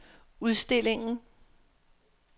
udstillingen